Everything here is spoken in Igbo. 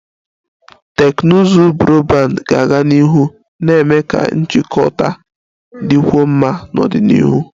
Teknụzụ Broadband ga-aga n'ihu na-eme ka njikọta dịkwuo mma n'ọdịnihu